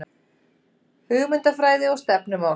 Hugmyndafræði og stefnumál